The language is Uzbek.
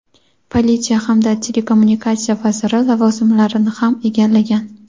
politsiya hamda telekommunikatsiya vaziri lavozimlarini ham egallagan.